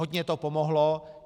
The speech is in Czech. Hodně to pomohlo.